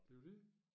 Det jo dét